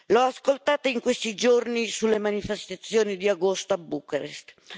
L'ho ascoltata in questi giorni sulle manifestazioni di agosto a Bucarest.